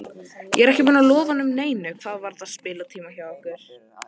Ég er ekki búinn að lofa honum neinu hvað varðar spilatíma hjá okkur.